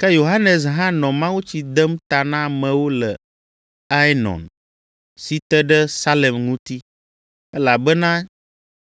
Ke Yohanes hã nɔ mawutsi dem ta na amewo le Aenon, si te ɖe Salem ŋuti, elabena